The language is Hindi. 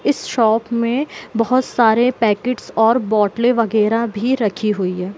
इस शॉप मे बहोत सारे पैकेटस और बोटले वगेरह भी रखी हुई हैं।